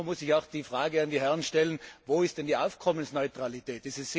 Aber nun muss ich auch die Frage an die Herren stellen Wo ist denn die Aufkommensneutralität?